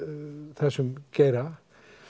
þessum geira